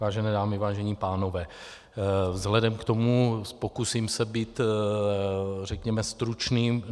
Vážené dámy, vážení pánové, vzhledem k tomu, pokusím se být řekněme stručný.